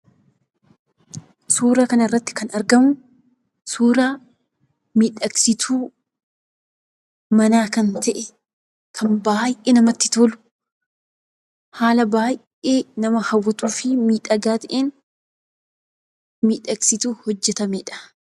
Suura kanarratti kan argamu, suuraa miidhagsituu manaa kan ta'e, kan baay'ee namatti tolu! Haala baay'ee nama hawwatuu fi miidhagaa ta'een, miidhagsituu hojjetamedha.